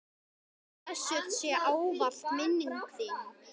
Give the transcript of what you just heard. Blessuð sé ávallt minning þín.